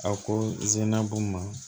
A ko b'u ma